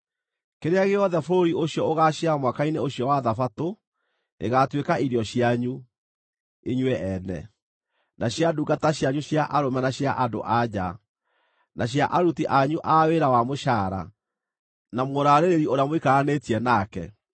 Kĩrĩa gĩothe bũrũri ũcio ũgaaciara mwaka-inĩ ũcio wa Thabatũ gĩgaatuĩka irio cianyu, inyuĩ ene na cia ndungata cianyu cia arũme na cia andũ-a-nja, na cia aruti anyu a wĩra wa mũcaara, na mũraarĩrĩri ũrĩa mũikaranĩtie nake,